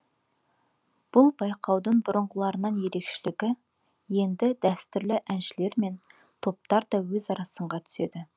бұл байқаудың бұрынғыларынан ерекшелігі енді дәстүрлі әншілер мен топтар да өзара сынға түседі